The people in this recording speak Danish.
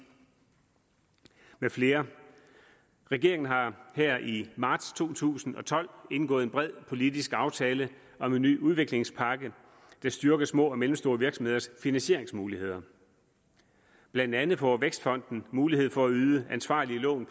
med flere regeringen har her i marts to tusind og tolv indgået en bred politisk aftale om en ny udviklingspakke der styrker små og mellemstore virksomheders finansieringsmuligheder blandt andet får vækstfonden mulighed for at yde ansvarlige lån